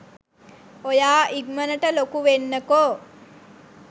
ඔයා ඉක්මනට ලොකු වෙන්නකෝ'